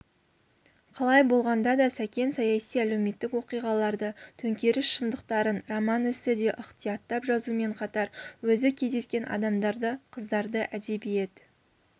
қалай болғанда да сәкен саяси-әлеуметтік оқиғаларды төңкеріс шындықтарын роман-эсседе ықтияттап жазумен қатар өзі кездескен адамдарды қыздарды әдебиет